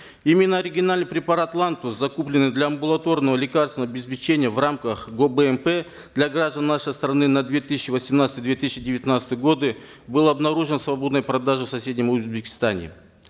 именно оригинальный препарат лантус закупленный для амбулаторного лекарственного обеспечения в рамках гобмп для граждан нашей страны на две тысячи восемнадцатый две тысячи девятнадцатый годы был обнаружен в свободной продаже в соседнем узбекистане